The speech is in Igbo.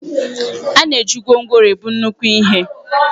A na-eji gwongworo ebu nnukwu ihe